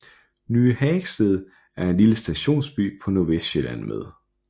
Ny Hagested er en lille stationsby på Nordvestsjælland med